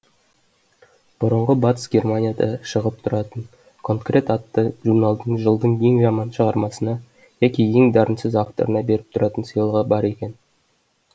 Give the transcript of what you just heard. бұрынғы батыс германияда шығып тұратын конкрет атты журналдың жылдың ең жаман шығармасына яки ең дарынсыз авторына беріп тұратын сыйлығы бар екен